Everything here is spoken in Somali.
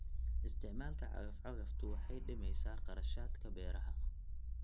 Isticmaalka cagaf-cagaftu waxa ay dhimaysaa kharashaadka beeraha.